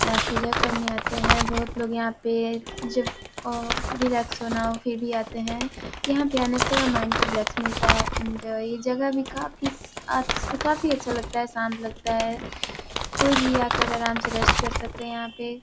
आप पूजा करने आते हैं बोहोत लोग यहाँ पे रिलैक्स होना हो फिर भी आते हैं | यहाँ पर आने से थोड़ा माइंड को रिलैक्स मिलता है एंड एक जगह भी काफी अच काफी अच्छा लगता है शांत लगता है कोई भी आकर आराम से रेस्ट कर सकते हैं यहाँ पे |